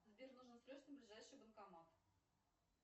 сбер нужно срочно ближайший банкомат